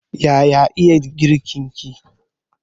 Yaya iya girkin ki?